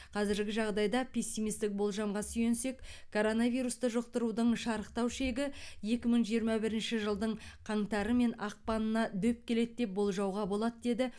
қазіргі жағдайда пессимистік болжамға сүйенсек коронавирусты жұқтырудың шарықтау шегі екі мың жиырма бірінші жылдың қаңтары мен ақпанына дөп келеді деп болжауға болады деді